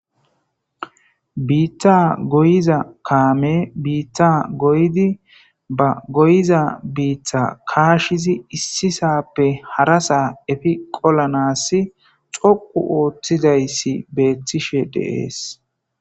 Bitta goyiza kamey Brita goyidi ba goyiza bita kashizi issisape harasa efe qolanans dhoqu othizaysi betishe dese